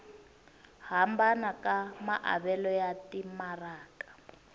hambana ka maavelo ya timaraka